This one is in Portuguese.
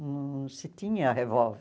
Não se tinha revólver.